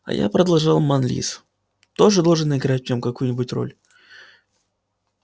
а я продолжал манлис тоже должен играть в нём какую-нибудь роль